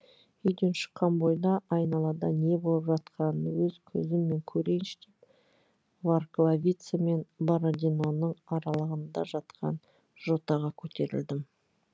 үйден шыққан бойда айналада не болып жатқанын өз көзіммен көрейінші деп варкловица мен бородиноның аралығында жатқан жотаға көтерілдім